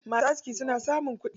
Masu aski suna samun kuɗi.